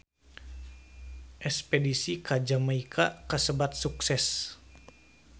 Espedisi ka Jamaika kasebat sukses